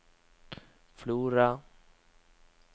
Flora